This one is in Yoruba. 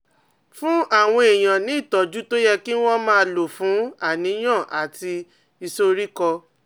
Fún àwọn èèyàn ní ìtọ́jú tó yẹ kí wọ́n máa lò fún àníyàn àti ìsoríkọ́